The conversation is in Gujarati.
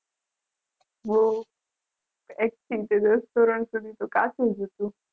બહુ એક થી દસ ધોરણ સુધી કાચું જ હતું.